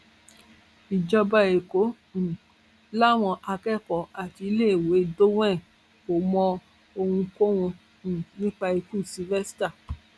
ìjọba ẹkọ um làwọn akẹkọọ àti iléèwé dowen kò mọ ohunkóhun um nípa ikú sylvester